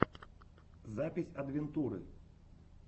запись адвентуры